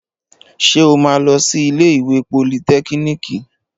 Ṣé o máa lọ sí iléèwé politẹ́kíníìkì?